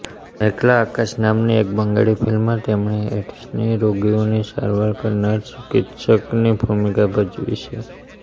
મેઘલા આકાશ નામની એક બંગાળી ફિલ્મમાં તેમણે એઇડ્સના રોગીઓની સારવાર કરનાર ચિકિત્સકની ભૂમિકા ભજવી છે